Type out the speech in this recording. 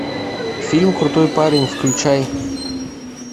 фильм крутой парень включай